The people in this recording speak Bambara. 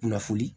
Kunnafoni